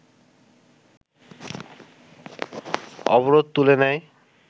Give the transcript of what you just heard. অবরোধ তুলে নেয়